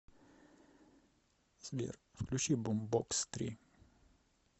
сбер включи бумбокс три